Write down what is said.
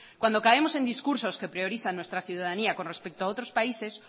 cuando caemos en discursos que priorizan nuestra ciudadanía con respecto a otros países